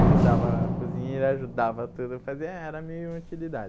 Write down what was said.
Ajudava a cozinheira, ajudava tudo, fazia ah era minha utilidade.